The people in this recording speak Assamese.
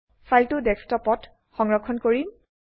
ফাইলটো ডেস্কটপত সংৰক্ষণ কৰিম